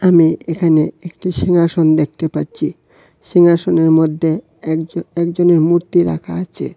আমি এখানে একটি সিংহাসন দেখতে পাচ্চি সিংহাসনের মদ্যে একজ একজনের মূর্তি রাকা আচে।